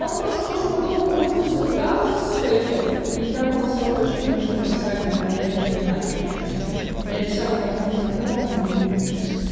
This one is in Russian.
он просто уже подобным образом залетал с фальсификатов и там было сразу очевидно что это саша но я блядь не знаю короче что с ним я писала там общим знакомым они не ебут